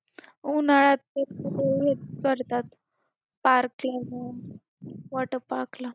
उन्हाळ्यात करतात parking water park ला.